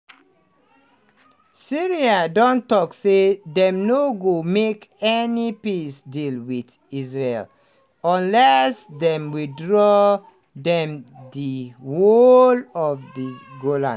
syria don tok say dem no go make any peace deal with israel unless dem withdraw from di whole of di golan.